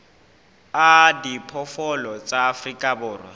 a diphoofolo tsa afrika borwa